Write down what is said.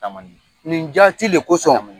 Nin jaati de kosɔn,